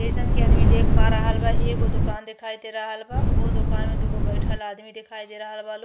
जइसन की आदमी देख पा रहल बा एगो दोकान देखाई दे रहल बा। ओ दोकान में दुगो बइठल आदमी देखाई दे रहल बा लो।